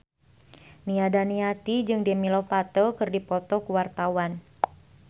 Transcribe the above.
Nia Daniati jeung Demi Lovato keur dipoto ku wartawan